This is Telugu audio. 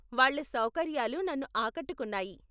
వాళ్ళ సౌకర్యాలు నన్ను ఆకట్టుకున్నాయి.